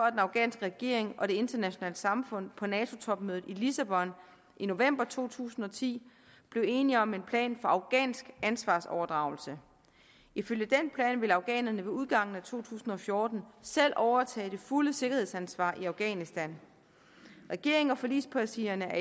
at den afghanske regering og det internationale samfund på nato topmødet i lissabon i november to tusind og ti blev enige om en plan for afghansk ansvarsoverdragelse ifølge den plan vil afghanerne ved udgangen af to tusind og fjorten selv overtage det fulde sikkerhedsansvar i afghanistan regeringen og forligspartierne er